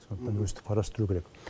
сондықтан өстіп қарастыру керек